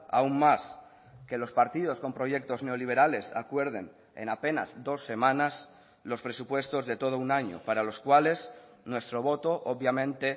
aún más que los partidos con proyectos neoliberales acuerden en apenas dos semanas los presupuestos de todo un año para los cuales nuestro voto obviamente